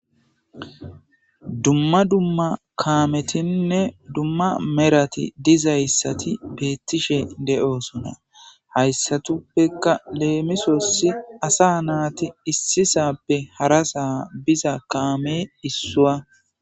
dumma dumma kaametinne dumma merati dizayssati beettishe de7osona hayssatuppeka leemisosi asa naati issisappe hara saa biza kaame issuwa